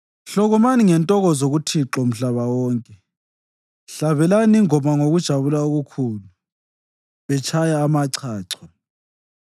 Hlokomani ngentokozo kuThixo, mhlaba wonke, hlabelani ingoma ngokujabula okukhulu, litshaya amachacho;